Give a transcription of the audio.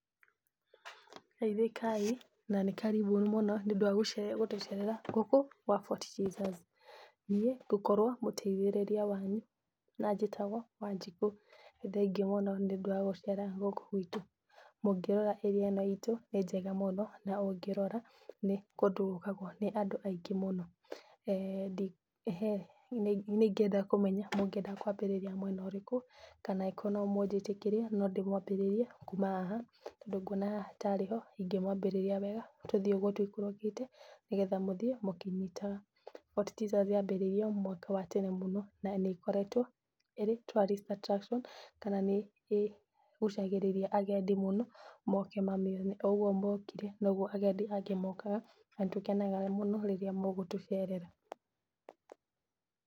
Geithĩka i na nĩ karibu mũno nĩ ũndũ wa gũtũcerera gũkũ gwa Fort Jesu. Niĩ ngũkorwo mũteithĩriria wanyu na njĩtagwo Wanjikũ, nĩ thengiũ mũno nĩ ũndũ wa gũcera gũkũ gwitũ. Mũngĩrora area ĩno itũ nĩ njega mũno na ũngĩrora nĩ kũndũ gũkagwo nĩ andũ aingĩ mũno. [eeh]Nĩ ingĩenda kumenya mũngĩenda kwambĩrĩria mwena ũrĩkũ kana angĩkorwo no mũnjĩtĩkĩrie no nyende kũmwambĩrĩria kuma haha, tondũ nguona haha tarĩ nĩho ingĩmwambĩrĩria wega, tũthiĩ ũguo tũikũrũkĩte, nĩgetha mũthiĩ mũkĩnyitaga. Fort Jesus yambĩrĩirio mwaka wa tene mũno na nĩ ĩkoretwo ĩrĩ tourist attraction kana nĩ ĩgucagirĩria agendi mũno moke mamĩone. O ũguo mũkire noguo agendi angĩ mokaga, na nĩ tũkenaga mũno rĩrĩa mũgũtũcerera.